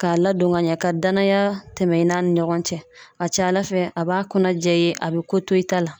K'a ladon ka ɲɛ, ka danaya tɛmɛ i n'a ni ɲɔgɔn cɛ, a ka ca ala fɛ, a b'a kɔnɔ jɛ i ye, a bɛ ko to i ta la.